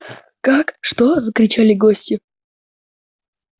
как что закричали гости